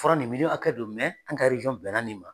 Fura nin miliyɔn hakɛ don, an ka bɛn na nin ma.